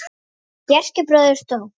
Þegar Bjarki bróðir dó.